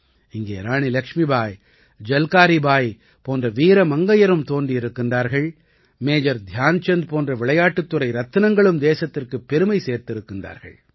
இங்கே ராணி லக்ஷ்மிபாய் ஜல்காரீ பாய் போன்ற வீர மங்கையரும் தோன்றியிருக்கின்றார்கள் மேஜர் தியான்சந்த் போன்ற விளையாட்டுத் துறை ரத்தினங்களும் தேசத்திற்குப் பெருமை சேர்த்திருக்கிறார்கள்